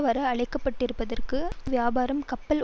வர அழைக்கப்பட்டபிறகு இந்த அந்தருவருப்பான வியாபாரம் கப்பல்